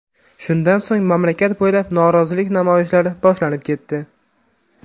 Shundan so‘ng mamlakat bo‘ylab norozilik namoyishlari boshlanib ketdi.